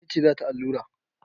Wace ce za ta allura?